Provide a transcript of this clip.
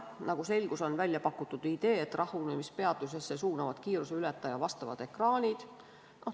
Nagu selgus, on välja pakutud idee, et rahunemispeatusesse suunavad kiiruse ületaja vastavad ekraanid.